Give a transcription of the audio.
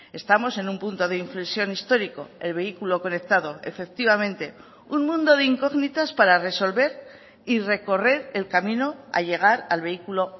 estamos en un punto de inflexión histórico el vehículo conectado efectivamente un mundo de incógnitas para resolver y recorrer el camino a llegar al vehículo